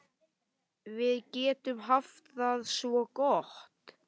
Við getum haft það svo gott.